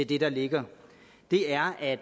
det der ligger er at